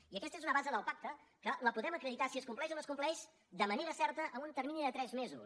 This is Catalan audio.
i aquesta és una base del pacte que la podem acreditar si es compleix o no es compleix de manera certa en un termini de tres mesos